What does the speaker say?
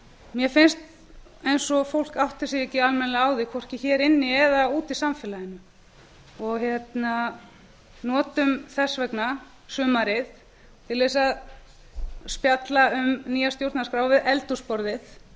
mér finnst eins og fólk átti sig ekki almennilega á því hvorki hér inni eða úti í samfélaginu notum þess vegna sumarið til þess að spjalla um nýja stjórnarskrá við eldhúsborðið